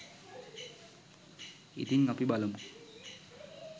ඉතින් අපි බලමු